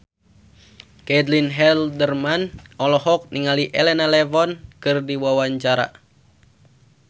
Caitlin Halderman olohok ningali Elena Levon keur diwawancara